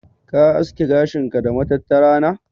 Ka haski gashin ka da matattara na?